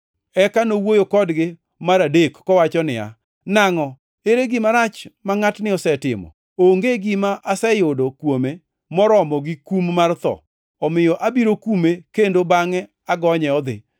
Eka nowuoyo kodgi mar adek kowacho niya, “Nangʼo? Ere gima rach ma ngʼatni osetimo? Onge gima aseyudo kuome moromo gi kum mar tho. Omiyo abiro kume kendo bangʼe agonye odhi.”